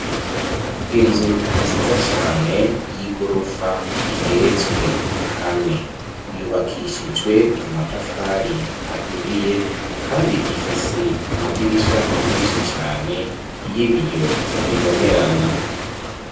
Inzu nziza cane y'igorofa igeretswe kane, yubakishijwe amatafari aturiye kandi ifise amadirisha menshi cane y'ibiyo bibonerana.